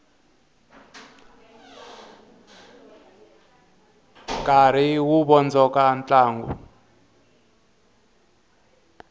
nkarhi wu vondzoka ntlangu